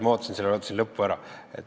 Ma ootasin lõpu ära.